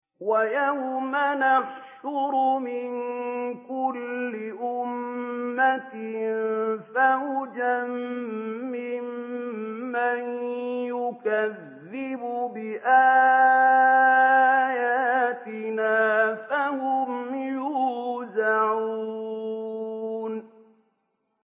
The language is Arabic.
وَيَوْمَ نَحْشُرُ مِن كُلِّ أُمَّةٍ فَوْجًا مِّمَّن يُكَذِّبُ بِآيَاتِنَا فَهُمْ يُوزَعُونَ